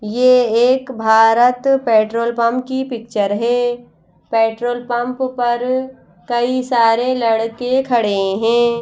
ये एक Bharat petrol pump की पिक्चर है पेट्रोल पंप पर कई सारे लड़के खड़े हैं।